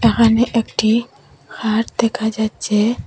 এখানে একটি খাট দেখা যাচ্ছে।